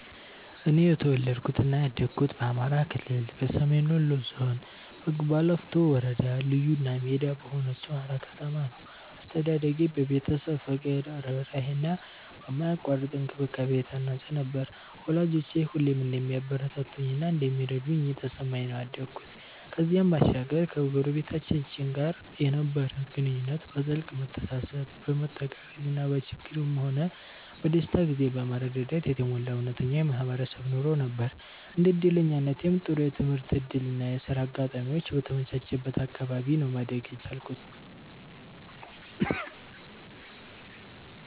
እኔ የተወለድኩት እና ያደኩት በአማራ ክልል፣ በሰሜን ወሎ ዞን፣ በጉባላፍቶ ወረዳ ልዩ እና ሜዳ በሆነችው ሃራ ከተማ ነው። አስተዳደጌ በቤተሰብ ፍቅር፣ ርህራሄ እና በማያቋርጥ እንክብካቤ የታነጸ ነበር፤ ወላጆቼ ሁሌም እንደሚያበረታቱኝ እና እንደሚረዱኝ እየተሰማኝ ነው ያደኩት። ከዚህም ባሻገር ከጎረቤቶቻችን ጋር የነበረን ግንኙነት በጥልቅ መተሳሰብ፣ በመተጋገዝ እና በችግርም ሆነ በደስታ ጊዜ በመረዳዳት የተሞላ እውነተኛ የማህበረሰብ ኑሮ ነበር። እንደ እድለኛነቴም ጥሩ የትምህርት እድል እና የሥራ አጋጣሚዎች በተመቻቸበት አካባቢ ነው ማደግ የቻልኩት።